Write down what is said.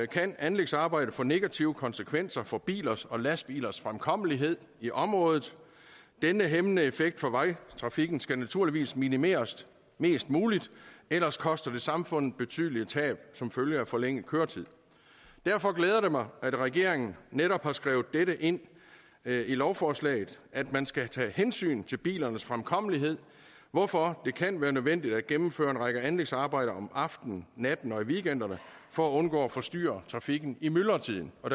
kan anlægsarbejdet få negative konsekvenser for bilers og lastbilers fremkommelighed i området denne hæmmende effekt for vejtrafikken skal naturligvis minimeres mest muligt ellers koster det samfundet betydelige tab som følge af forlænget køretid derfor glæder det mig at regeringen netop har skrevet ind i lovforslaget at man skal tage hensyn til bilernes fremkommelighed hvorfor det kan være nødvendigt at gennemføre en række anlægsarbejder om aftenen natten og i weekenderne for at undgå at forstyrre trafikken i myldretiden og